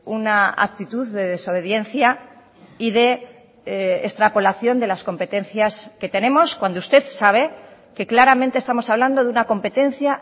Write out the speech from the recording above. una actitud de desobediencia y de extrapolación de las competencias que tenemos cuando usted sabe que claramente estamos hablando de una competencia